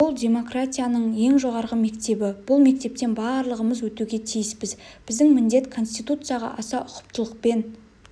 бұл демократияның ең жоғарғы мектебі бұл мектептен барлығымыз өтуге тиіспіз біздің міндет конституцияға аса ұқыптылықпен